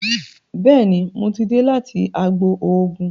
Béèni mọ tí dé láti àgbò oògùn.